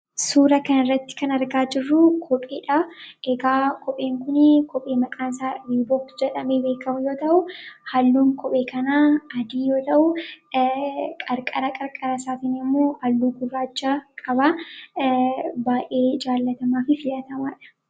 Suuraa kanarratti kan argaa jirru kophee dha. Egaa kopheen kun kophee maqaan isaa 'Riibok' jedhamee beekamu yoo ta'u, halluun kophee kanaa adii yoo ta'u, qarqara qarqara isaatiin immoo halluu gurraacha qaba. Baay'ee jaallatamaa fi filatamaa dha.